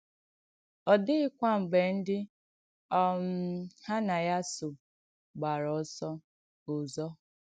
Ọ dị̀ghìkwà mgbé ndí um ha nà ya sò gbàrà ọ̀sọ̀ òzọ̀.